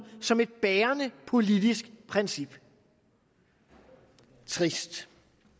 som et bærende politisk princip trist